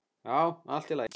Já, allt í lagi.